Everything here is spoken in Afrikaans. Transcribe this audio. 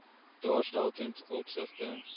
daarstel ten opsigte